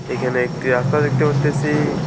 এখানে একটি রাস্তা দেখতে পারতেসি।